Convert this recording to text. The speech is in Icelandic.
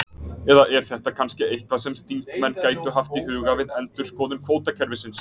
Eða er þetta kannski eitthvað sem þingmenn gætu haft í huga við endurskoðun kvótakerfisins?